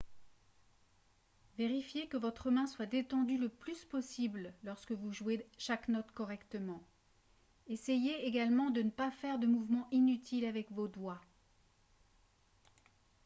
vérifiez que votre main soit détendue le plus possible lorsque vous jouez chaque note correctement essayez également de ne pas faire de mouvements inutiles avec vos doigts